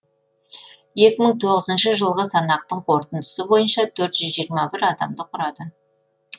екі мың тоғызыншы жылғы санақтың қорытындысы бойынша төрт жүз жиырма бір адамды құрады